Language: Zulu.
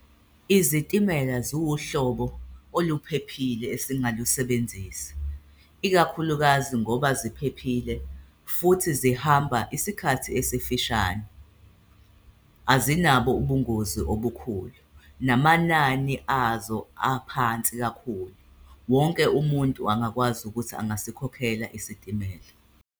Izitimela ziwuhlobo oluphephile esingalusebenzisa, ikakhulukazi ngoba ziphephile futhi zihamba isikhathi esifishane. Azinabo ubungozi obukhulu namanani azo aphansi kakhulu, wonke umuntu angakwazi ukuthi angasikhokhela isitimela.